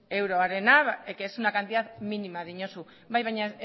euroarena que es una cantidad mínima diozu bai baina